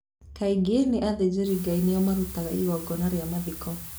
Kaingĩ nĩ athĩnjĩrĩ Ngai nĩo marutaga igongona rĩa mathiko.